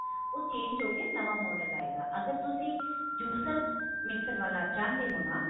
ਉਹ change ਹੋ ਕੇ ਨਵਾਂ model ਆਏਗਾ ਅਗਰ ਤੁਸੀਂ juicer mixer ਵਾਲਾ ਚਾਹੁੰਦੇ ਹੋ ਨਾ